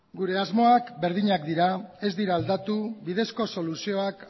gure asmoak berdinak dira ez dira aldatu bidezko soluzioak